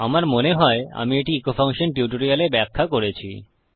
আমার মনে হয় আমি এটি ইকো ফাংশন টিউটোরিয়ালে ব্যাখ্যা করেছি